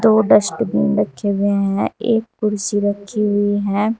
दो डस्टबिन रखे हुए हैं एक कुर्सी रखी हुई हैं।